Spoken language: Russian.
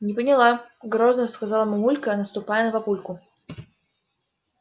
не поняла грозно сказала мамулька наступая на папульку